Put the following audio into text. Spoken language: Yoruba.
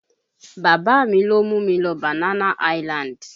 Bàbá mi ló mú mi lọ Banana island